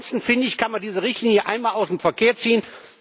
Ansonsten finde ich, kann man diese Richtlinie aus dem Verkehr ziehen.